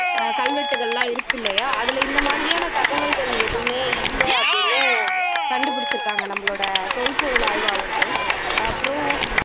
அஹ் கல்வெட்டுகள் எல்லாம் இருக்கு இல்லையா அதுல இந்த மாதிரியான தகவல் எதுவுமே இல்ல அப்படின்னும் கண்டுபுடிச்சுருக்காங்க நம்மளோட தொல்பொருள் ஆய்வாளர்கள் அப்பறம்